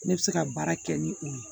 Ne bɛ se ka baara kɛ ni o ye